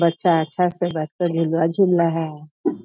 बच्चा अच्छा से बैठकर झुलुआ झूल रहा है।